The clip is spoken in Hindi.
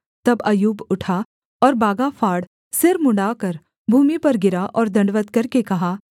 तब अय्यूब उठा और बागा फाड़ सिर मुँण्ड़ाकर भूमि पर गिरा और दण्डवत् करके कहा